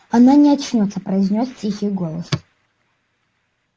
она не очнётся произнёс тихий голос